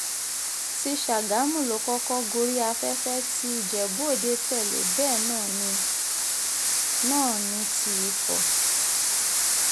ti ṣàgámù ló kọ́kọ́ gorí afẹ́fẹ́ tí ìjẹ́bú-òde tẹ́lẹ̀ bẹ́ẹ̀ náà ní náà ní ti ifo